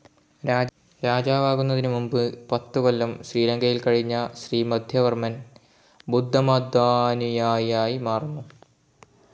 രാജാവാകുന്നതിന് മുമ്പ് പത്ത് കൊല്ലം ശ്രീലങ്കയിൽ കഴിഞ്ഞ ശ്രീമധ്യവർമ്മൻ, ബുദ്ധമതാനുയായിയായി മാറിയിരുന്നു.